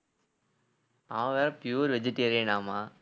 அவன் வேற pure vegetarian ஆமா